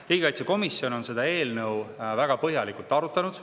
Riigikaitsekomisjon on eelnõu väga põhjalikult arutanud.